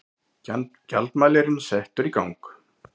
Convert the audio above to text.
Gjaldmælirinn settur í gang.